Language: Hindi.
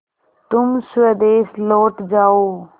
तुम स्वदेश लौट जाओ